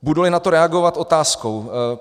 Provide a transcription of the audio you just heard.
Budu na to reagovat otázkou.